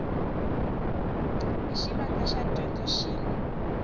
hi xivandla xa dyondzo xin